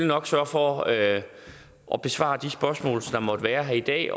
nok sørge for at at besvare de spørgsmål der måtte være her i dag